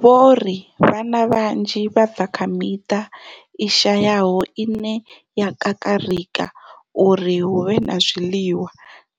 Vho ri vhana vhanzhi vha bva kha miṱa i shayaho ine ya kakarika uri hu vhe na zwiḽiwa,